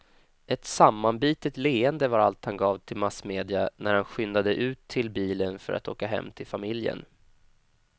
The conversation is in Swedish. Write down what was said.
Ett sammanbitet leende var allt han gav till massmedia när han skyndade ut till bilen för att åka hem till familjen.